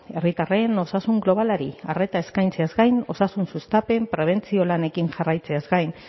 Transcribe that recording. herritarren osasun globalari arreta eskaintzeaz gain osasun sustapen prebentzio lanekin jarraitzeaz gain